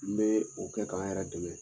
N bɛ o kɛ k'an yɛrɛ dɛmɛ.